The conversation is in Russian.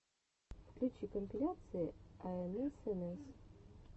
включи компиляция аэнэсэнэс